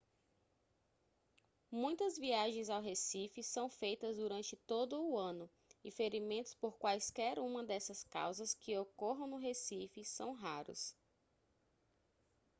muitas viagens ao recife são feitas durante todo o ano e ferimentos por quaisquer uma dessas causas que ocorram no recife são raros